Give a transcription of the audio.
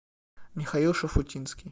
михаил шуфутинский